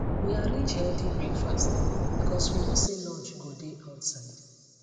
we arrange healthy breakfast because we know say lunch go dey outside